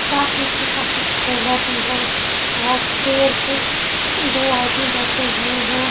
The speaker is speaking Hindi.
साथ मैं उसके पास एक छूला भी हैं और चेयर पे दो आदमी बैठे हुए है।